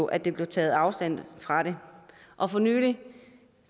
at der blev taget afstand fra det og for nylig